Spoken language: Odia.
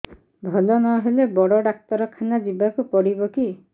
ଭଲ ନହେଲେ ବଡ ଡାକ୍ତର ଖାନା ଯିବା କୁ ପଡିବକି